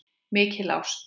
Mikil ást.